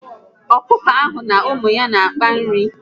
Ọkụkọ ahụ na ụmụ ya n'akpa nri